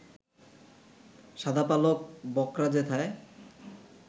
শাদা পালক বকরা যেথায়